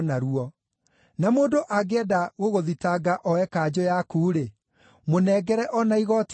Na mũndũ angĩenda gũgũthitanga oe kanjũ yaku-rĩ, mũnengere o na igooti rĩaku.